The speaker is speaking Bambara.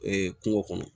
kungo kɔnɔ